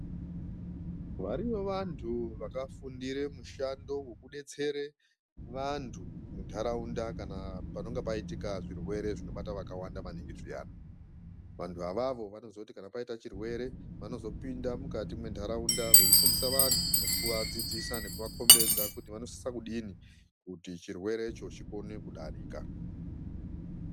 Variyo vantu vakafundire mushando vekubetsere vantu muntaraunda kana panonga paitike zvirwere zvinobata vakawanda maningi zviyani. Vantu avavo vanoziye kuti kana paita chirwere vanozopinda mukati mentaraunda veifundisa vantu nekuvadzidzisa nekuvakombedza kuti vanosisa kudini kuti chirwerecho chikone kudarika.